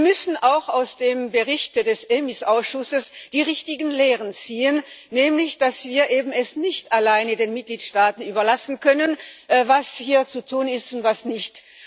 Wir müssen auch aus dem Bericht des EMIS-Ausschusses die richtigen Lehren ziehen, nämlich dass wir es eben nicht alleine den Mitgliedstaaten überlassen können, was hier zu tun ist und was nicht.